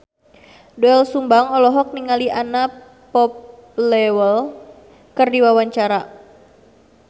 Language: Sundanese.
Doel Sumbang olohok ningali Anna Popplewell keur diwawancara